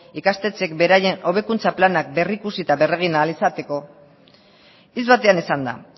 ikastetxeek beraien hobekuntza planak berrikusi eta berregin ahal izateko hitz batean esanda